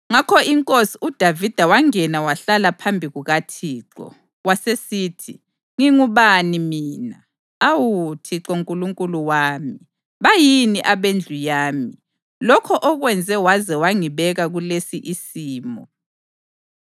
Ngakho inkosi uDavida wangena wahlala phambi kukaThixo, wasesithi, “Ngingubani mina, awu Thixo Nkulunkulu wami, bayini abendlu yami, lokho okwenze waze wangibeka kulesi isimo?